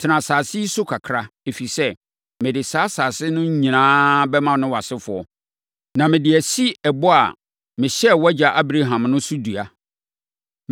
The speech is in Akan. Tena asase yi so kakra, ɛfiri sɛ, mede saa asase no nyinaa bɛma wo ne wʼasefoɔ, na mede asi ɛbɔ a mehyɛɛ wʼagya Abraham no so dua.